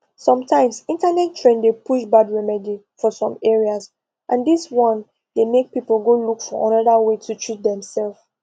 sometimes internet trend dey push bad remedy for some areas and this one dey make people go look for another way to treat demself